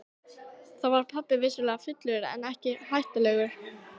Þá var pabbi vissulega fullur en ekki hættulegur.